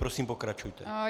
Prosím, pokračujte.